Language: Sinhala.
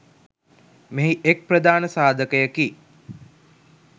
මෙහි එක් ප්‍රධාන සාධකයකි.